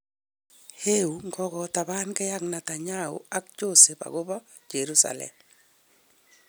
Eu ngokotapange ak Netanyahu ak Joesph agopa Jerusalem